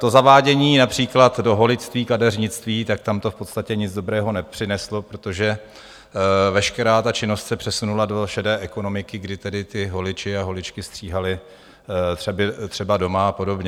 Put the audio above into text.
To zavádění například do holičství, kadeřnictví, tak tam to v podstatě nic dobrého nepřineslo, protože veškerá ta činnost se přesunula do šedé ekonomiky, kdy tedy ti holiči a holičky stříhali třeba doma a podobně.